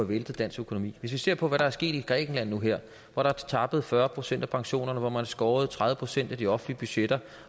væltet dansk økonomi hvis vi ser på hvad der er sket i grækenland nu her hvor der er tappet fyrre procent af pensionerne hvor man har skåret tredive procent af de offentlige budgetter